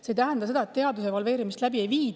See ei tähenda seda, et teaduse evalveerimist läbi ei viida.